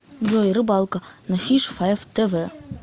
джой рыбалка на фиш файв тэ вэ